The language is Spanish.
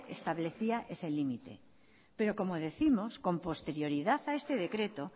establecía ese límite pero como décimos con posterioridad a este decreto